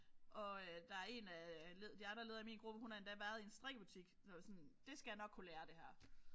Og der er en af leder de andre ledere i min gruppe hun har endda været i en strikkebutik så var sådan det skal jeg nok kunne lære det her